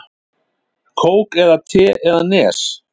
Kók eða te eða Nes?